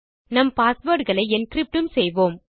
நம் பாஸ்வேர்ட் களை என்கிரிப்ட் உம் செய்வோம்